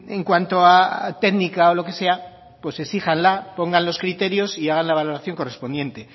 en cuanto a técnica o lo que sea exíjanla pongan los criterios y hagan la valoración correspondiente